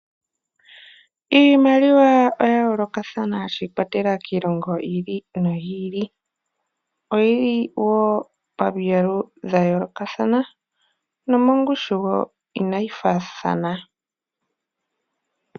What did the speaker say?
Iimaliwa oya yooloka shi ikwatelela kiilongo yi ili noyi ili, oyili woo pami yalu dha yoolokathana nomo ngushu woo inayi faathana.